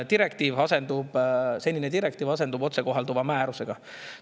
Nimelt, senine direktiiv asendub otsekohalduva määrusega.